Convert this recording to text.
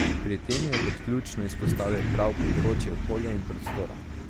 Pri tem je kot ključno izpostavil prav področje okolja in prostora.